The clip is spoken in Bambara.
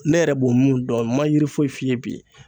Ne yɛrɛ b'o min dɔn ma yiri foyi f'i ye bi